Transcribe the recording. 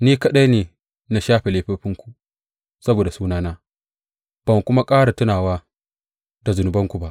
Ni kaɗai ne na shafe laifofinku, saboda sunana, ban kuma ƙara tunawa da zunubanku ba.